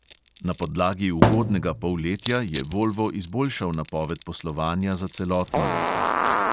Na podlagi ugodnega polletja je volvo izboljšal napoved poslovanja za celotno leto.